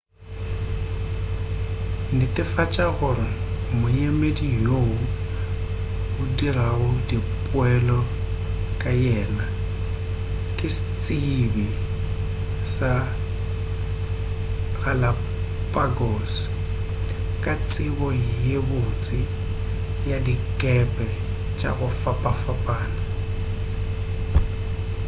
netefatša gore moemedi yoo o dirago dipeelo ka yena ke setsebi sa galapagos ka tsebo ye botse ya dikepe tša go fapafapana